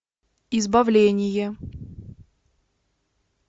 избавление